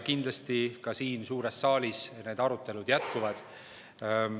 Kindlasti ka siin suures saalis need arutelud jätkuvad.